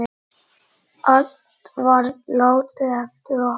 Allt var látið eftir okkur.